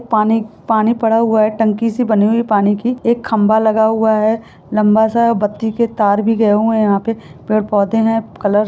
पानी पानी पड़ा हुए है टंकी सी बनी हुए है पानी की एक खम्भा लगा हुए है लम्बा सा बत्ती के तार भी गए हुई है यहाँ पे पेड़-पोधे हैं। कलर --